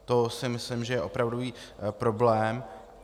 To si myslím, že je opravdový problém.